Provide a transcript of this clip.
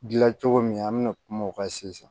Dilan cogo min an bɛ na kuma o kan sisan